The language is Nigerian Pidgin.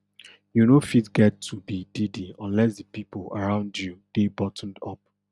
you no fit get to be diddy unless di pipo around you dey buttoned up